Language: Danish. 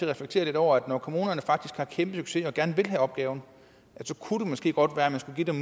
reflektere lidt over at når kommunerne faktisk har kæmpe succes og gerne vil have opgaven så kunne det måske godt være man skulle give dem